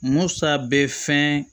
Musa bɛ fɛn